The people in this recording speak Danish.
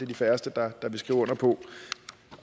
de færreste der vil skrive under på